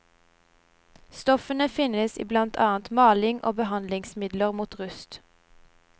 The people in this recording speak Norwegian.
Stoffene finnes i blant annet maling og behandlingsmidler mot rust.